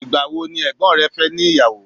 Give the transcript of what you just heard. igbawo ni ègbón rẹ fe ni iyawo